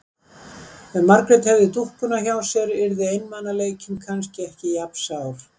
Ef Margrét hefði dúkkuna hjá sér yrði einmanaleikinn kannski ekki jafn sár.